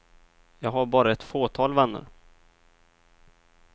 Jag har bara ett fåtal vänner.